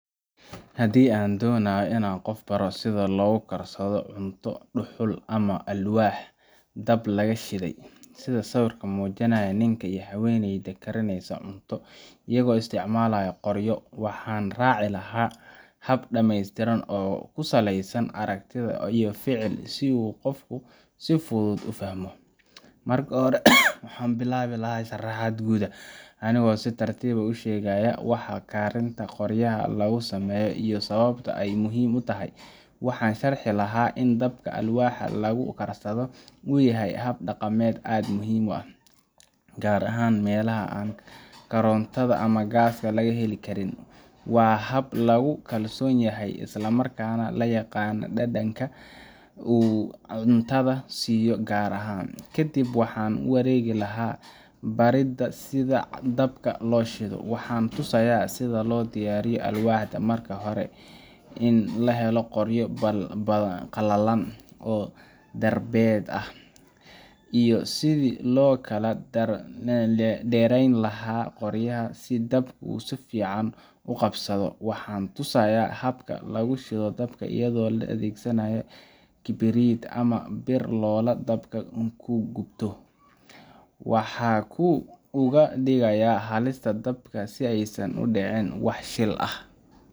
Haddii aan doonayo inaan qof baro sida loogu karsado cunto dhuxul ama alwaax dab laga shiday, sida sawirka uu muujinayo ninka iyo haweeneyda karineysa cunto iyagoo isticmaalaya qoryo, waxaan raaci lahaa hab dhammaystiran oo ku saleysan aragti iyo ficil si uu qofku si fudud u fahmo. Marka hore, waxaan bilaabi lahaa sharaxaad guud, anigoo si tartiib ah u sheegaya waxa karinta qoryaha lagu sameeyo iyo sababta ay muhiim u tahay. Waxaan sharxi lahaa in dabka alwaaxda lagu karsado uu yahay hab dhaqameed aad u muhiim ah, gaar ahaan meelaha aan korontada ama gaaska laga heli karin. Waa hab lagu kalsoon yahay, isla markaana la yaqaan dhadhanka uu cuntada siiyo oo gaar ah. Kadib waxaan u wareegi lahaa baridda sida dabka loo shido: Waxaan tusayaa sida loo diyaariyo alwaaxda: marka hore in la helo qoryo qalalan, darbeed yar, iyo sidii loo kala dheereyn lahaa qoryaha si dabku si fiican u qabsado. Waxaan tusayaa habka lagu shido dabka iyadoo la adeegsanayo kibrit ama bir loola dabka ku gubto. Waxaan uga digayaa halista dabka si aysan u dhicin wax shil ah.